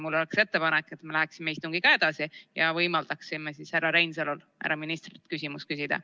Mul on ettepanek, et me läheksime istungiga edasi ja võimaldaksime härra Reinsalul härra ministrilt küsimus ära küsida.